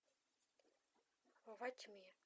во тьме